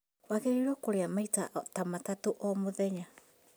Wagĩrĩirwo kũrĩa maita ta matatũ o mũthenya